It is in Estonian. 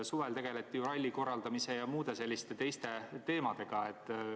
Suvel tegeleti ju ralli korraldamise ja muude selliste teemadega.